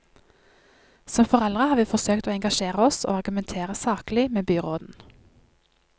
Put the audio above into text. Som foreldre har vi forsøkt å engasjere oss og argumentere saklig med byråden.